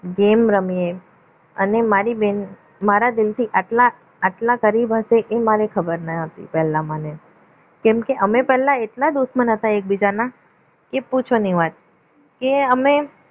game રમીએ અને મારી બેન મારા દિલથી આટલા આટલા કરીબ હશે એ મારે ખબર નહિ હતી પહેલા મને કેમ કે અમે પહેલા એટલા દુશ્મન હતા એકબીજાના કે પૂછો નહીં વાત કે અમે